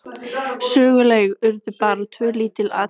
Söguleg urðu bara tvö lítil atvik.